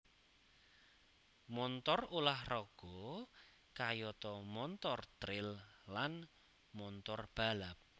Montor ulah raga kayata montor tril lan montor balap